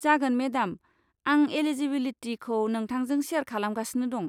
जागोन मेडाम! आं एलिजिबिलिटिखौ नोंथांजों सेयार खालामगासिनो दं।